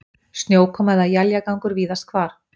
Snjókoma eða éljagangur víðast hvar